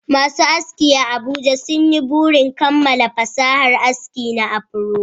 Masu aski a Abuja sun yi burin kammala fasahar aski na afro